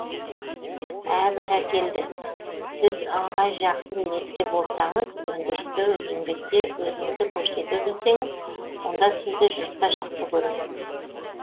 ә бәрекелді сіз ыңғай жақсы ниетте болсаңыз өндірісте еңбекте өзіңізді көрсете білсеңіз онда сізді жұрт та жақсы көреді